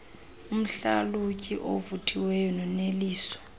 umhlalutyi ovuthiweyo noneliso